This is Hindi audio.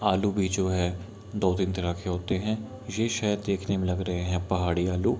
आलू बेचो है दो तीन तरह के होते है ये शायद देखने में लग रहे है पहाड़ी आलू।